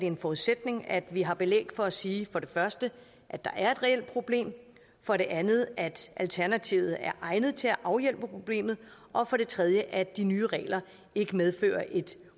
en forudsætning at vi har belæg for at sige for det første at der er et reelt problem for det andet at alternativet er egnet til at afhjælpe problemet og for det tredje at de nye regler ikke medfører et